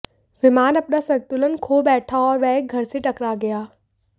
विमान अपना संतुलन खो बैठा और वह एक घर से टकरा गया